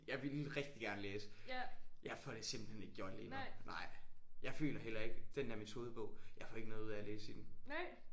Jeg ville rigtig gerne læse jeg får det simpelthen ikke gjort lige nu nej. Jeg føler heller ikke den der metodebog jeg får ikke noget ud af at læse i den